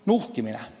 Nuhkimisest.